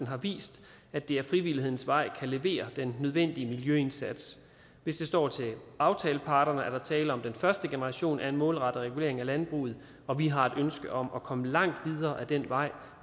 har vist at det ad frivillighedens vej kan levere den nødvendige miljøindsats hvis det står til aftaleparterne er der er tale om den første generation af en målrettet regulering af landbruget og vi har et ønske om at komme langt videre ad den vej